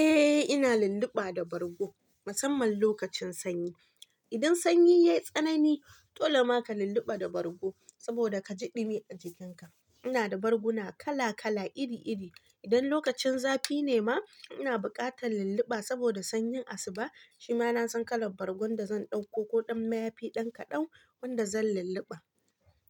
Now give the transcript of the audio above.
Eh ina lulluɓa da bargo musamman lokacin sanyi. Idan sanyi yai tsanani, dole ka lulluɓa da bargo saboda ka ji ɗumi a jikinka. Ina da barguna kala kala iri iri. Idan lokacin zafi ne ma ina buƙatan lulluɓa saboda sanyin asuba. Shi ma na san kalan bargon da zan ɗauko ko ɗan mayafi, ɗan kaɗan wanda zan lulluɓa.